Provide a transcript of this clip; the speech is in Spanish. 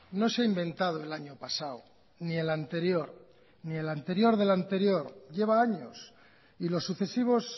no se ha inventado el año pasado ni el anterior ni el anterior del anterior lleva años y los sucesivos